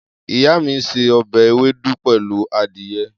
Iya mi n se obe ewedu pelu adiye